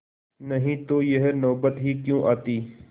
नहीं तो यह नौबत ही क्यों आती